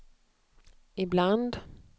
ibland